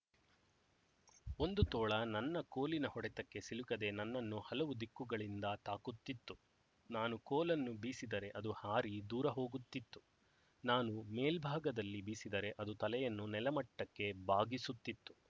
ಒಂದು ತೋಳ ನನ್ನ ಕೋಲಿನ ಹೊಡೆತಕ್ಕೆ ಸಿಲುಕದೆ ನನ್ನನ್ನು ಹಲವು ದಿಕ್ಕುಗಳಿಂದ ತಾಕುತ್ತಿತ್ತು ನಾನು ಕೋಲನ್ನು ಬೀಸಿದರೆ ಅದು ಹಾರಿ ದೂರ ಹೋಗುತ್ತಿತ್ತು ನಾನು ಮೇಲ್ಭಾಗದಲ್ಲಿ ಬೀಸಿದರೆ ಅದು ತಲೆಯನ್ನು ನೆಲಮಟ್ಟಕ್ಕೆ ಬಾಗಿಸುತ್ತಿತು